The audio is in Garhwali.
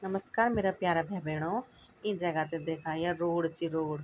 नमस्कार मेरा प्यारा भै भेणो ईं जगह थे देखा या रोड च रोड ।